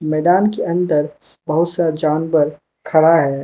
मैदान के अंदर बहुत सा जानवर खड़ा है।